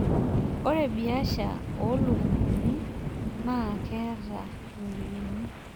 Ore biasha oo lukunkuni naa keeta ropiyiani.